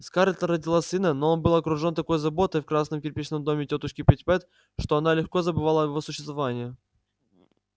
скарлетт родила сына но он был окружен такой заботой в красном кирпичном доме тётушки питтипэт что она легко забывала о его существовании